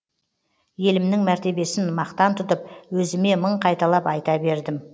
елімнің мәртебесін мақтан тұтып өзіме мың қайталап айта бердім